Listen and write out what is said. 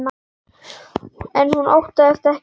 En hún óttast ekki álfa.